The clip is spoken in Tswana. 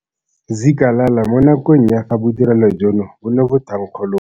Zikalala mo nakong ya fa bodirelo jono bo ne bo thankgololwa.